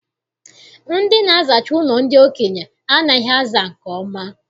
Ndị na-azacha ụlọ ndị okenye anaghị aza nke ọma.